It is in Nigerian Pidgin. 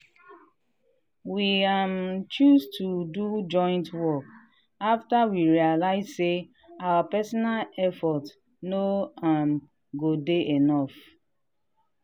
we um choose to do joint work after we realize say our personal effort no um go dey enough.